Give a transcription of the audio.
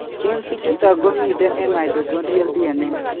Genes ichuton komiten en mitochondrial DNA